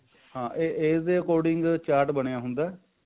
ਹਾਂ age ਦੇ according chart ਬਣਿਆ ਹੁੰਦਾ